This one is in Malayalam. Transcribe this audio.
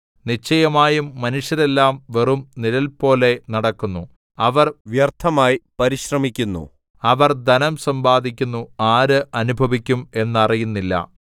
നിശ്ചയമായും മനുഷ്യരെല്ലാം വെറും നിഴൽപോലെ നടക്കുന്നു അവർ വ്യർത്ഥമായി പരിശ്രമിക്കുന്നു അവർ ധനം സമ്പാദിക്കുന്നു ആര് അനുഭവിക്കും എന്നറിയുന്നില്ല